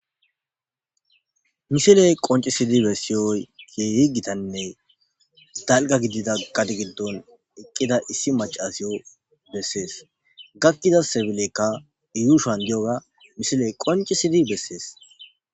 Misiley qoncisidi bessiyoy ye yigitanne dalga gidida gadi giddon eqqida issi macasiyo bessees gakkida sebilekka yuushoan diyoga misiley qoncisidi bessees.